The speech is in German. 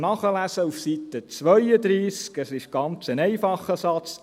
Sie können es auf Seite 32 nachlesen, es ist ein ganz einfacher Satz: